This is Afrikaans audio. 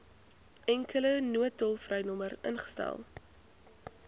enkele noodtolvrynommer ingestel